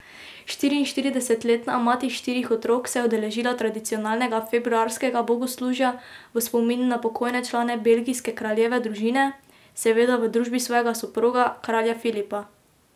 Štiriinštiridesetletna mati štirih otrok se je udeležila tradicionalnega februarskega bogoslužja v spomin na pokojne člane belgijske kraljeve družine, seveda v družbi svojega soproga, kralja Filipa.